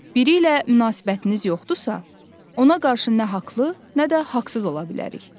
Biri ilə münasibətiniz yoxdursa, ona qarşı nə haqlı, nə də haqsız ola bilərik.